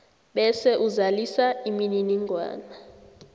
bese uzalisa imininingwana